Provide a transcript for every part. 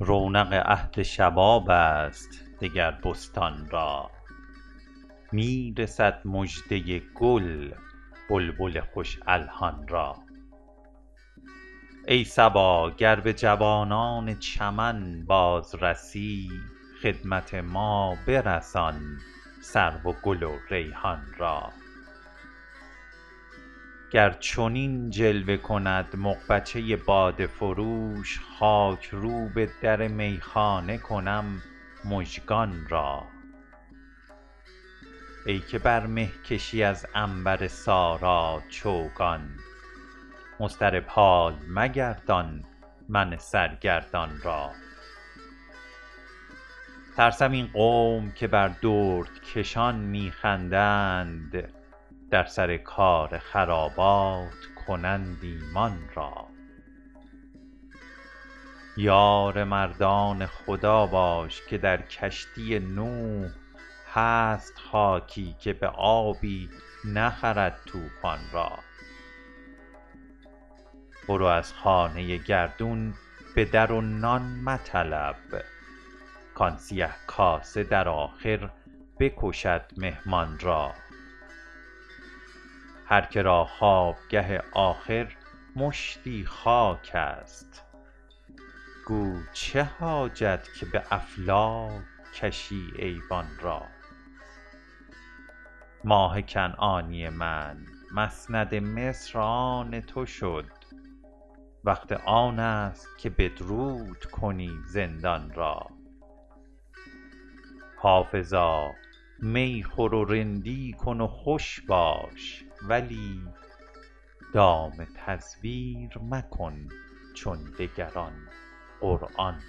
رونق عهد شباب است دگر بستان را می رسد مژده گل بلبل خوش الحان را ای صبا گر به جوانان چمن باز رسی خدمت ما برسان سرو و گل و ریحان را گر چنین جلوه کند مغبچه باده فروش خاک روب در میخانه کنم مژگان را ای که بر مه کشی از عنبر سارا چوگان مضطرب حال مگردان من سرگردان را ترسم این قوم که بر دردکشان می خندند در سر کار خرابات کنند ایمان را یار مردان خدا باش که در کشتی نوح هست خاکی که به آبی نخرد طوفان را برو از خانه گردون به در و نان مطلب کآن سیه کاسه در آخر بکشد مهمان را هر که را خوابگه آخر مشتی خاک است گو چه حاجت که به افلاک کشی ایوان را ماه کنعانی من مسند مصر آن تو شد وقت آن است که بدرود کنی زندان را حافظا می خور و رندی کن و خوش باش ولی دام تزویر مکن چون دگران قرآن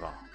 را